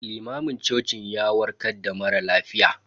Limamin cocin ya warkar da mara lafiya.